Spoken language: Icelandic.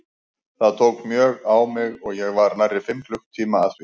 Það tók mjög á mig og ég var nærri fimm klukkutíma að því.